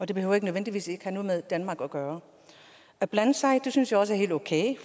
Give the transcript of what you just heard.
det behøver ikke nødvendigvis at have noget med danmark at gøre at blande sig synes jeg også er helt okay